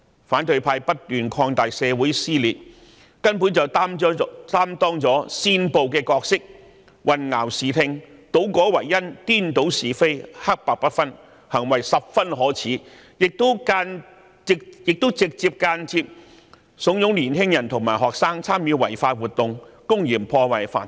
反對派不斷擴大社會撕裂，根本擔當了煽暴的角色，他們混淆視聽，倒果為因，顛倒是非，黑白不分，行為十分可耻，亦直接或間接慫恿年青人和學生參與違法活動，公然破壞法治。